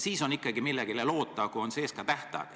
Siis on ikkagi võimalik millelegi loota, kui on sees ka tähtaeg.